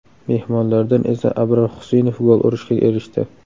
Mehmonlardan esa Abror Xusinov gol urishga erishdi.